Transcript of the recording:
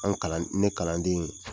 An kalan ne kalanden